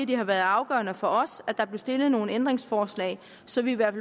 det har været afgørende for os at der blev stillet nogle ændringsforslag så vi i hvert